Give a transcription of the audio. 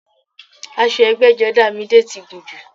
Aṣọ ẹgbẹ́jọdá Midé ti gùn jù